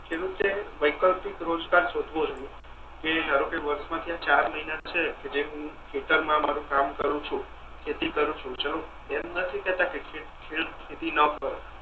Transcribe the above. ખેડૂતે વૈકલ્પિક રોજગાર સોધવો જોઈએ જેમ ધારો કે વર્ષ ના ચાર મહિના છે જે હું ખેતર મા મારુ કામ કરુ છુ ખેતી કરુ છુ ચાલો એમ નથી કેતા કે ખેતી ન કરો